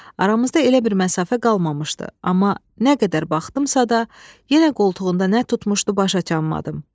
Aramızda elə bir məsafə qalmamışdı, amma nə qədər baxdımsa da, yenə qoltuğunda nə tutmuşdu başa düşə bilmədim.